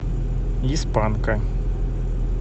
из панка